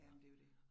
Jamen det jo det